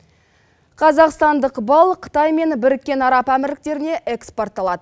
қазақстандық бал қытай мен біріккен араб әмірліктеріне экспортталады